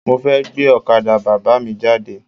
Mo fẹ́ gbé ọ̀kadà Bàbá mi jáde.